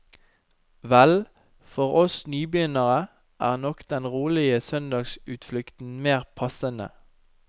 Vel, for oss nybegynnere er nok den roligere søndagsutflukten mer passende.